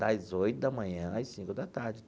Das oito da manhã às cinco da tarde.